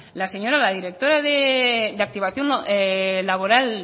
la señora la directora de activación laboral